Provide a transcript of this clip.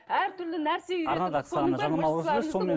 әртүрлі нәрсе үйретіңіз